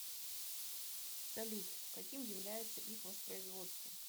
салют каким является их воспроизводство